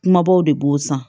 Kumabaw de b'o san